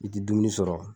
I ti dumuni sɔrɔ